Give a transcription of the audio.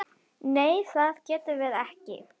Nei það getum við ekki.